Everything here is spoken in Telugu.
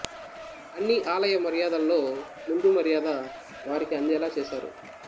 అన్ని ఆలయ మర్యాదల్లో ముందు మర్యాద వారికి అందేలా చేశారు